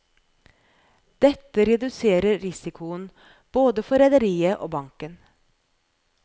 Dette reduserer risikoen både for rederiet og banken.